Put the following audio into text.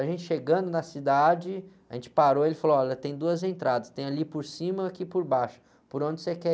A gente chegando na cidade, a gente parou e ele falou, olha, tem duas entradas, tem ali por cima e aqui por baixo, por onde você quer ir?